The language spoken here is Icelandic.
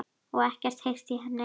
Og ekkert heyrt í henni?